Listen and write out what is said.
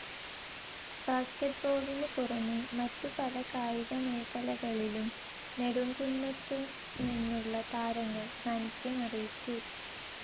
ബാസ്കറ്റ്ബോളിനു പുറമേ മറ്റു പല കായിക മേഖലകളിലും നെടുംകുന്നത്തുനിന്നുള്ള താരങ്ങൾ സാനിദ്ധ്യമറിയിച്ചു.